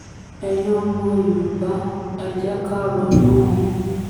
ẹ̀yin ọmọ yorùbá ẹ̀ jẹ́ ká ronú o